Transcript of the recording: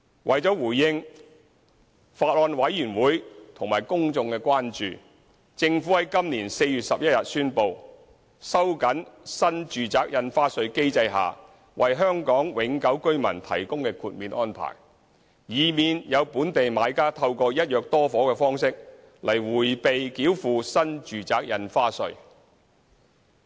為了回應法案委員會及公眾的關注，政府在今年4月11日宣布，收緊新住宅印花稅機制下為香港永久性居民提供的豁免安排，以免有本地買家透過"一約多伙"的方式來迴避繳付新住宅印花稅。